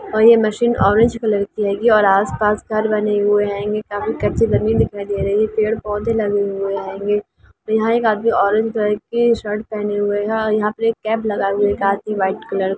और ये machine orange colour की है और ये आस-पास घर बने हुए है काफी कच्चे जमीन दिखाई दे रहे है पेड़-पौधें लगे हुए है यहां एक आदमी ऑरेंज कलर के शर्ट पहने हुए है और यहां पे एक कैम्प लगाए हुए व्हाइट कलर --